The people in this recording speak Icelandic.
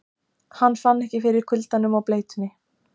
Hann fann ekki fyrir kuldanum og bleytunni.